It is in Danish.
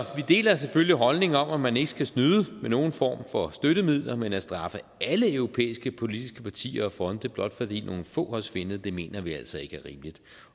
vi deler selvfølgelig holdningen om at man ikke skal snyde med nogen form for støttemidler men at straffe alle europæiske politiske partier og fonde blot fordi nogle få har svindlet mener vi altså ikke er rimeligt